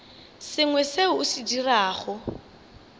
sengwe seo o se dirago